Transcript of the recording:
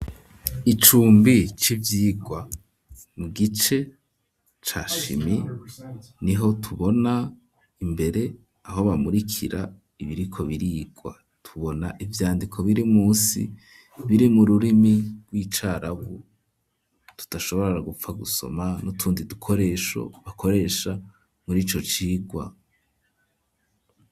Icumbi c'ivyigwa mu gice, ca shimi niho tubona imbere ,aho bamurikira ibiriko birigwa ,tubona ivyandiko biri munsi ,biri mu rurimi rw'icarabu ,tudashobora gupfa gusoma, n'utundi dukoresho, bakoresha muri ico cigwa.